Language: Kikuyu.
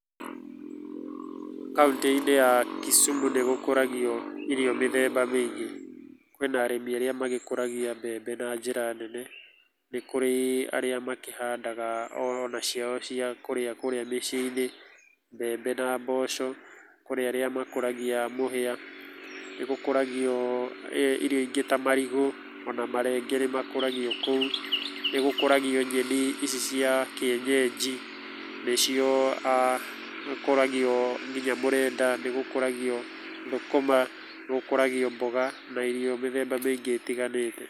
Kaũntĩ-inĩ ya Kisumu nĩ gũkũragio irio mĩthemba mĩingĩ. Kwĩna arĩmi arĩa magĩkũragia mbembe na njĩra nene, nĩ kũrĩ arĩa makĩhandaga o na ciao cia kũrĩa kũrĩa mĩciĩ-inĩ, mbembe na mboco, kũrĩ arĩa makũragia mũhĩa. Nĩ gũkũragio irio ingĩ ta marigũ, ona marenge nĩ makũragio kũu, nĩ gũkũragio nyeni ici cia kĩenyenji, nĩcio, nĩgũkũragio nginya mũrenda, nĩgũkũragio thũkũma, nĩgũkũragio mboga na irio mĩthemba mĩingĩ ĩtiganĩte.